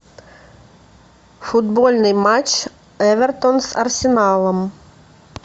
футбольный матч эвертон с арсеналом